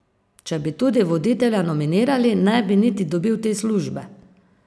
Če bi tudi voditelja nominirali, ne bi niti dobil te službe!